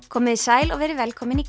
komiði sæl og verið velkomin í